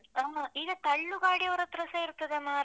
ಓಹೋ, ಈಗ ತಳ್ಳು ಗಾಡಿಯವರತ್ರಸ ಇರ್ತದೆ ಮಾರೆ.